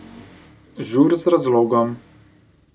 Žur z razlogom.